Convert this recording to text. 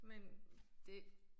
Men det